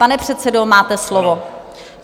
Pane předsedo, máte slovo.